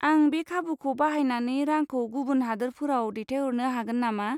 आं बे खाबुखौ बाहायनानै रांखौ गुबुन हादोरफोराव दैथायहरनो हागोन नामा?